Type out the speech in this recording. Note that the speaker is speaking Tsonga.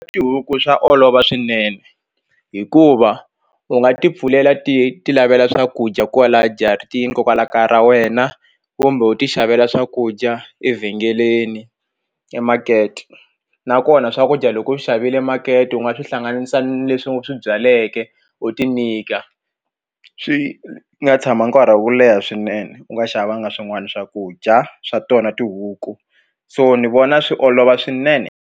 Tihuku swa olova swinene hikuva u nga ti pfulela ti ti lavela swakudya kwala jaratini kokwala kaya ra wena kumbe u ti xavela swakudya evhengeleni emakete nakona swakudya loko u xavile makete u nga swi hlanganisa ni leswi u swi byaleke u ti nyika swi nga tshama nkarhi wo leha swinene u nga xavanga swin'wana swakudya swa tona tihuku so ni vona swi olova swinene.